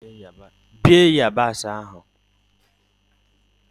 Bie yabasị ahụ!